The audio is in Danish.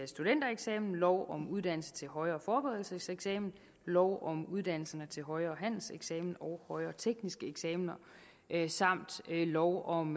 studentereksamen lov om uddannelsen til højere forberedelseseksamen lov om uddannelserne til højere handelseksamen og højere teknisk eksamen samt lov om